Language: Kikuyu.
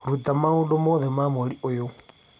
rũta maũndũ mothe ma mweri ũyũ